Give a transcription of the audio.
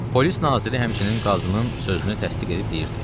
Polis naziri həmçinin qazının sözünü təsdiq edib deyirdi.